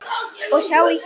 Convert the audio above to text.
Og sjáið hérna!